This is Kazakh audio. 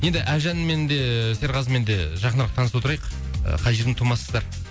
енді әлжанмен де серғазымен де жақынырық таныса отырайық қай жердің тумасыздар